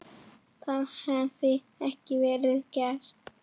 Það hafi ekki verið gert.